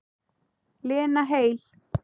Lena heil.